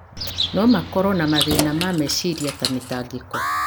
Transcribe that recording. no makorũo na mathĩna ma meciria ta mĩtangĩko.